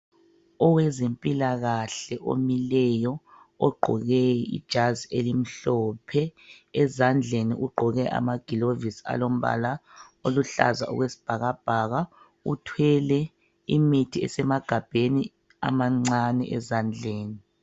Owezempilakahle omileyo ogqoke ijazi elimhlophe ezandleni ugqoke amagilovisi alombala oluhlaza okwesibhakabhaka. Uthwele imithi esemagabheni amancane ezandleni.